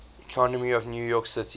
economy of new york city